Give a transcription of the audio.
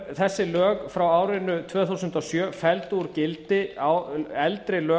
þessi lög frá árinu tvö þúsund og sjö felldu úr gildi eldri lög